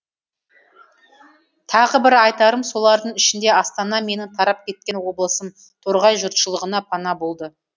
тағы бір айтарым солардың ішінде астана менің тарап кеткен облысым торғай жұртшылығына пана болды